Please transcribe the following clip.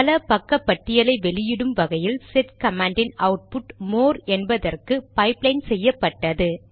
பல பக்க பட்டியலை வெளியிடும் வகையில் செட் கமாண்டின் அவுட்புட் மோர் என்பதற்கு பைப்லைன் செய்யப்பட்டது